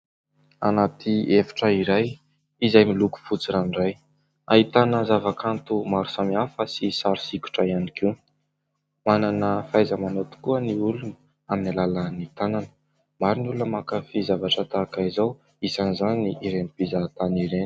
Anaty efitra iray izay miloko fotsy ranoray, ahitana zava-kanto maro samihafa sy sary sikotra ihany koa. Manana fahaiza-manao tokoa ny olona amin'ny alàlan'ny tanana. Maro ny olona mankafy zavatra tahaka izao, isan'izany ireny mpizahatany ireny.